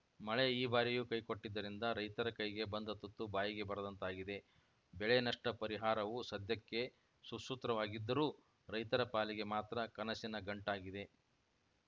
ಮಳೆ ಈ ಬಾರಿಯೂ ಕೈಕೊಟ್ಟಿದ್ದರಿಂದ ರೈತರ ಕೈಗೆ ಬಂದ ತುತ್ತು ಬಾಯಿಗೆ ಬರದಂತಾಗಿದೆ ಬೆಳೆ ನಷ್ಟಪರಿಹಾರವು ಸದ್ಯಕ್ಕೆ ಸುಸೂತ್ರವಾಗಿದ್ದರೂ ರೈತರ ಪಾಲಿಗೆ ಮಾತ್ರ ಕನಸಿನ ಗಂಟಾಗಿದೆ